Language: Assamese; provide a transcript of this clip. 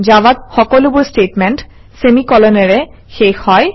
জাভাত সকলোবোৰ ষ্টেটমেণ্ট চেমি কোলনেৰে শেষ হয়